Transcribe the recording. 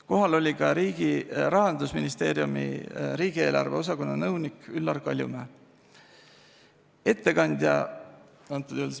Kohal oli ka Rahandusministeeriumi riigieelarve osakonna nõunik Üllar Kaljumäe.